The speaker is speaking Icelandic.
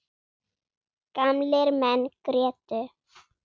Gamlir menn grétu.